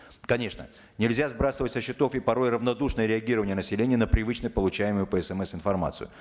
конечно нельзя сбрасывать со счетов и порой равнодушное реагирование населения на привычно получаемую по смс информацию